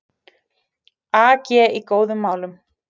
AG í góðum málum